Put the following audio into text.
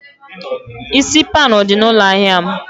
Isi pan dị na ụlọ ahịa m?